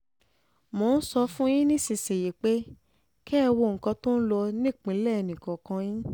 mo ń sọ fún yín um nísìnyìí pé kẹ́ ẹ wo nǹkan tó ń lọ um nípìnlẹ̀ ẹnìkọ̀ọ̀kan yín